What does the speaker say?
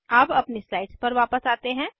अब अपनी स्लाइड्स पर वापस आते हैं